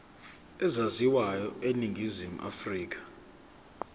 ezaziwayo eningizimu afrika